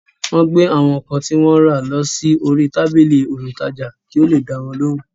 Wọ́n gbé àwọn ǹkan tí wọ́n rà lọ sí orí tábìlì olùtajà kí ó le dáwọn lóhùn